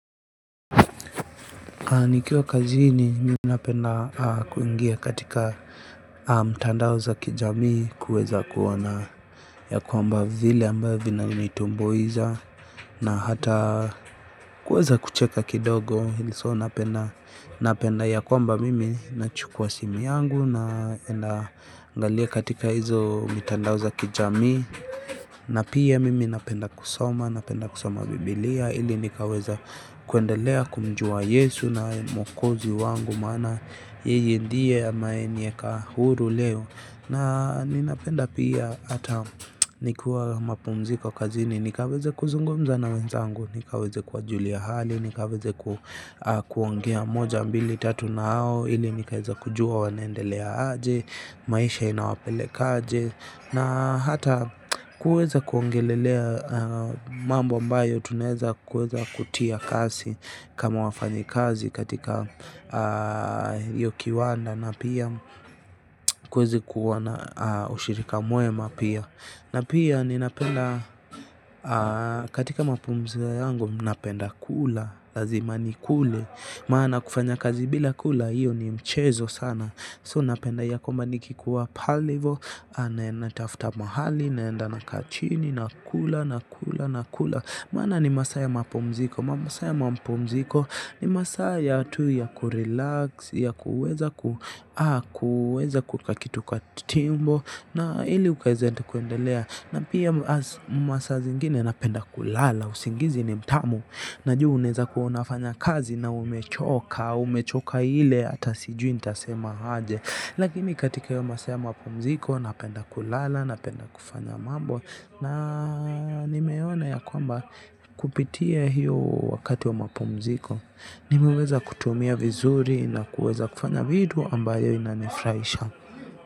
Nikiwa kazini mimi napenda kuingia katika mitandao za kijamii kuweza kuona ya kwamba vile ambavyo vinanitumbuiza. Na hata kuweza kucheka kidogo. So napenda ya kwamba mimi nachukua simu yangu na kwenda kuangalia katika hiyo mitandao ya kijamii. Na pia mimi napenda kusoma, napenda kusoma Biblia ili nikaweza kuendelea kumjua Yesu naye mwokozi wangu maana yeye ndiye aliyeniweka huru leo. Na ninapenda pia hata nikiwa mapumziko kazini, nikaweze kuzungumza na wenzangu, nikaweze kuwajulia hali, nikaweze kuongea moja, mbili, tatu, au ili nikaweze kujua wanaendelea aje, maisha inawapeleka aje. Na hata kuweza kuongelelea mambo ambayo tunaweza kuweza kutia kasi kama wafanyakazi katika hiyo kiwanda na pia kuweza kuwa na ushirika mwema pia. Na pia ninapenda katika mapumziko yangu, napenda kula. Lazima nikule, maana kufanya kazi bila kula, hiyo ni mchezo sana. So napenda ya kwamba nikikuwa pale hivo. Natafuta mahali, naenda nakaa chini, nakula nakula nakula, maana ni masaa ya mapumziko. Masaa ya mapumziko ni masaa tu ya kurelax ya kuweza kuweka kitu kwa tumbo, ili ukaweze kuendelea. Masaa zingine napenda kulala. Usingizi ni mtamu. Najua unaweza kuwa unafanya kazi na umechoka, umechoka ile hata sijui nitasema aje. Lakini katika hii sehemu ya mapumziko, napenda kulala, napenda kufanya mambo, na nimeona ya kwamba. Kupitia hiyo wakati wa mapumziko nimeweza kutumia vizuri na kuweza kufanya vitu ambayo inanifurahisha.